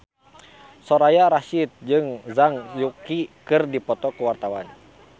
Soraya Rasyid jeung Zhang Yuqi keur dipoto ku wartawan